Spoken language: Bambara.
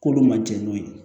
K'olu ma jɛn n'o ye